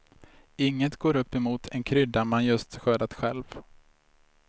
Inget går upp mot en krydda man just skördat själv.